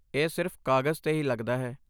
ਇਹ ਸਿਰਫ਼ ਕਾਗਜ਼ 'ਤੇ ਹੀ ਲੱਗਦਾ ਹੈ।